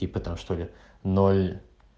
и потом что ли ноль